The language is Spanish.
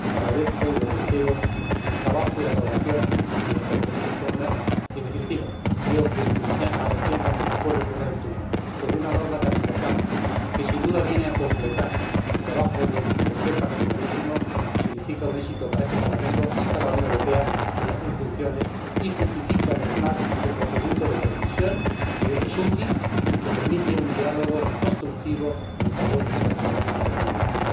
Agradezco, y lo reitero, el trabajo y la colaboración de los ponentes en la sombra y, en definitiva, creo que el que mañana adoptemos un acuerdo en primera lectura sobre una norma tan importante, que sin duda viene a completar el trabajo del tercer paquete marítimo, significa un éxito para este Parlamento y para la Unión Europea en las tres instituciones y justifica una vez más el procedimiento de codecisión, que es útil y que permite un diálogo constructivo en favor de toda la ciudadanía de la Unión Europea.